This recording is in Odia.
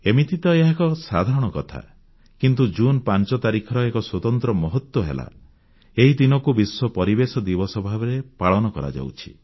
ଏମିତି ତ ଏହା ଏକ ସାଧାରଣ କଥା କିନ୍ତୁ ଜୁନ 5 ତାରିଖର ଏକ ସ୍ୱତନ୍ତ୍ର ମହତ୍ୱ ହେଲା ଏହି ଦିନକୁ ବିଶ୍ୱ ପରିବେଶ ଦିବସ ଭାବରେ ପାଳନ କରାଯାଉଛି